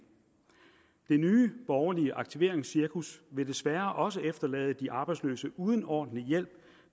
det nye borgerlige aktiveringscirkus vil desværre også efterlade de arbejdsløse uden ordentlig hjælp